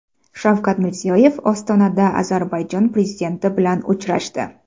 Shavkat Mirziyoyev Ostonada Ozarbayjon prezidenti bilan uchrashdi.